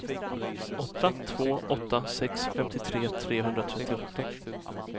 åtta två åtta sex femtiotre trehundratrettioåtta